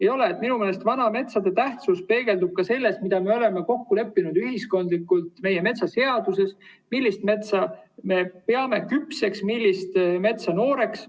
Minu meelest peegeldub vanade metsade tähtsus ka selles, mida me oleme ühiskondlikult kokku leppinud meie metsaseaduses: millist metsa me peame küpseks, millist metsa nooreks.